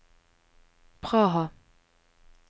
Praha